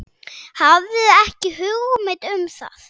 Hafði ekki hugmynd um það.